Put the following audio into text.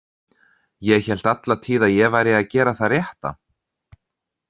Ég hélt alla tíð að ég væri að gera það rétta.